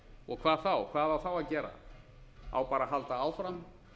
og hvað þá hvað á það að gera á bara að halda áfram